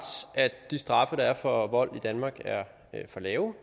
at de straffe der er for vold i danmark er for lave